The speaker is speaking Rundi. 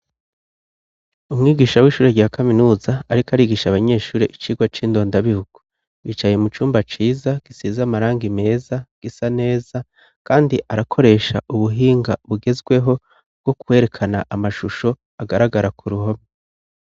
Umwigisha w'ishuri rya kaminuza, ariko arigisha abanyeshuri icigwa c'indondabihugu, bicaye mu cumba ciza, gisize amarangi meza, gisa neza, kandi arakoresha ubuhinga bugezweho, bwo kwerekana amashusho, agaragara ku ruhome.